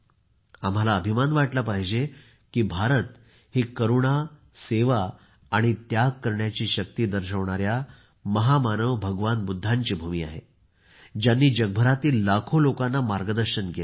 आम्हाला अभिमान वाटला पाहिजे की भारत ही करुणा सेवा आणि त्याग करण्याची शक्ती दर्शविणाऱ्या भगवान बुद्धांची भूमी आहे ज्यांनी जगभरातील लाखो लोकांना मार्गदर्शन केले